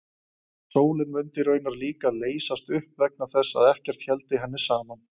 Sólin mundi raunar líka leysast upp vegna þess að ekkert héldi henni saman.